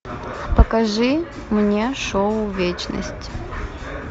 покажи мне шоу вечность